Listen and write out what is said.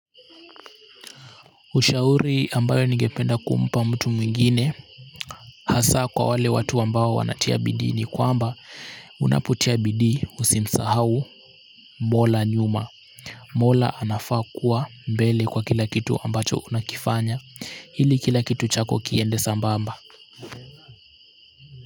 Ushauri ambayo nigependa kumpa mtu mwingine hasa kwa wale watu ambao wanatia bidii ni kwamba unapotia bidii usimsahau mola nyuma. Mola anafaa kuwa mbele kwa kila kitu ambacho unakifanya ili kila kitu chako kiende sambamba.